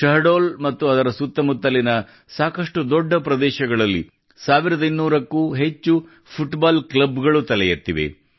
ಶಹಡೋಲ್ ಮತ್ತು ಅದರ ಸುತ್ತಮುತ್ತಲಿನ ಸಾಕಷ್ಟು ದೊಡ್ಡ ಪ್ರದೇಶಗಳಲ್ಲಿ 1200 ಕ್ಕೂ ಅಧಿಕ ಫುಟ್ಬಾಲ್ ಕ್ಲಬ್ ಗಳು ತಲೆ ಎತ್ತಿವೆ